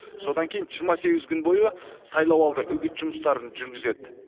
содан кейін жиырма сегіз күн бойы сайлауалды үгіт жұмыстарын жүргізеді